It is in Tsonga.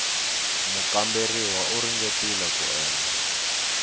mukamberiwa u ringetile ku endla